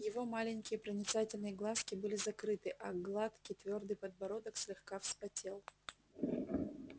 его маленькие проницательные глазки были закрыты а гладкий твёрдый подбородок слегка вспотел